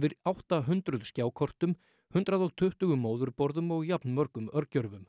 yfir átta hundruð skjákortum hundrað og tuttugu móðurborðum og jafnmörgum örgjörvum